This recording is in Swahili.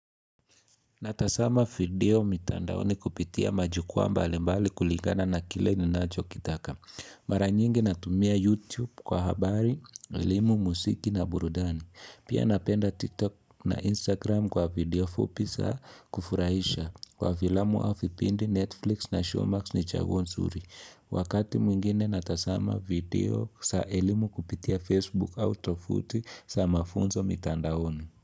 Natasama video mitandaoni kupitia majukwa mbali mbali kuligana na kile ninacho kitaka. Mara nyingi natumia YouTube kwa habari, elimu, musiki na burudani. Pia napenda TikTok na Instagram kwa video fupi sa kufurahisha. Kwa vilamu au fipindi Netflix na Showmax ni chaguo nzuri. Wakati mwingine natasama video sa elimu kupitia Facebook au tofuti sa mafunzo mitandaoni.